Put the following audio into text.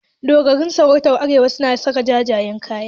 Dogarawan sarakunan arewa suna saka jajayen kaya.